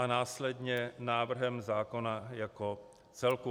A následně návrh zákona jako celek.